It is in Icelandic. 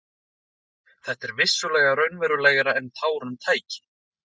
Þetta var vissulega raunalegra en tárum tæki.